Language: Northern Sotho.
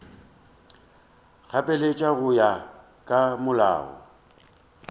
gapeletša go ya ka molao